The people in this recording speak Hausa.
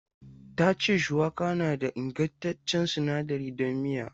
Ta ce shuwaka na da ingantaccen sinadari don miya.